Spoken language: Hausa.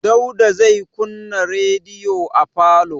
Dauda zai kunna rediyo a falo.